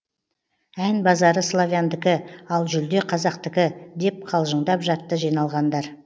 ән базары славяндікі ал жүлде қазақтікі деп қалжындап жатты жиналғандар